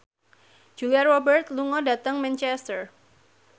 Julia Robert lunga dhateng Manchester